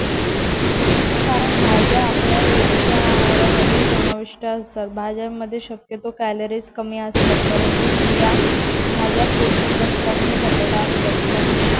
कारण भाज्या आपल्या रोजच्या आहारामध्ये समाविष्ट असतात. भाज्यांमध्ये शक्यतो कॅलरीज कमी असतात. परंतु या भाज्या पोषक घटकांनी भरलेल्या असतात. म्हणू